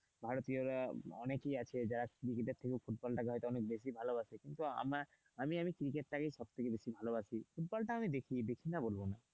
ভারতীয়রা অনেকেই আছে যারা ক্রিকেট থেকে ফুটবলটাকে হয়তো অনেক বেশি ভালোবাসে কিন্তু আমার আমি আমি ক্রিকেট টাকেই বেশি ভালোবাসি ফুটবলটা আমি দেখি, দেখি না বলবো না